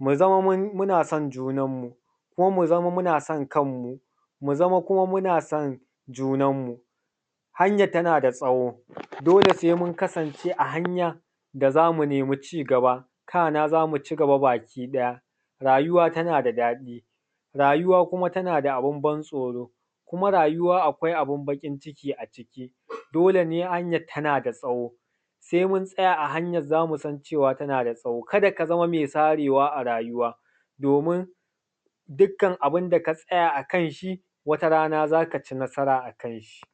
mu zama muna son junanmu, kuma mu zama muna san kanmu, mu zama kuma muna son junanmu. Hanyan tana da tsawo. Dole sai mun kasance a hanyan, da za mu nemi ci gaba, kana za mu ci gaba baki ɗaya. Rayuwa tana da daɗi, rayuwa kuma tana da abun ban tsoro, kuma rayuwa akwai abun baƙin ciki a ciki. Dole ne, hanyan tana da tsawo. Sai mun tsaya a hanyan, za mu san cewa tana da tsawo. Ka da ka zama mai sarewa a kasuwa. Domin dukkan abun da ka tsaya a kai, shi wata rana za ka ci nasara a kan shi.